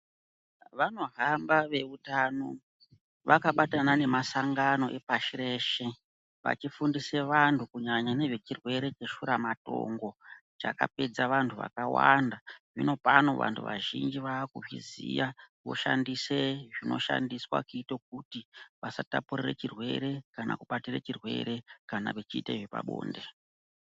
Vanohamba veutano vakabatana nemasangano epashi reshe vachifundise vanthu kunyanya ngezvevhirwere cheshuramatongo chakapedza vanthu vakawanda zvinopano vanthu vazhinji vaakuzviziya voshandise zvinoshandiswa kuita kuti vasatapurire chirwere kana kubatire chirwere kana vechiite zvepabonde.